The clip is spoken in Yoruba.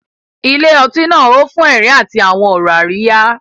Ilé ọtí náà hó fún ẹ̀rín àti àwọn ọ̀rọ̀ àríyá.